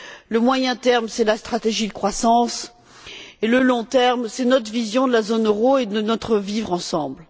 le moyen terme, c'est la stratégie de croissance, et le long terme, c'est notre vision de la zone euro et de notre vivre ensemble.